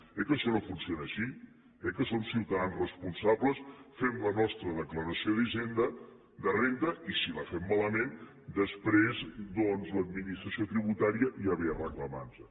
eh que això no funciona així eh que som ciutadans responsables fem la nostra declaració de renda i si la fem malament després doncs l’administració tributària ja ve a reclamar nos ho